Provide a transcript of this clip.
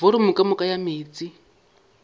volumo ka moka ya meetse